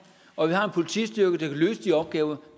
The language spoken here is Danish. og at vi har en politistyrke der kan løse de opgaver